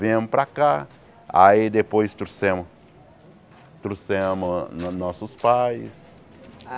Viemos para cá, aí depois trouxemos, trouxemos no nossos pais.